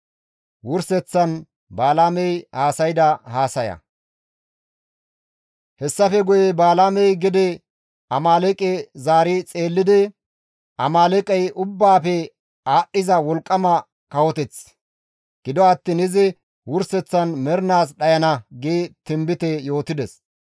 Hessafe guye Balaamey gede Amaaleeqe zaari xeellidi, «Amaaleeqey ubbaafe aadhdhiza wolqqama kawoteth; gido attiin izi wurseththan mernaas dhayana» gi tinbite yootides.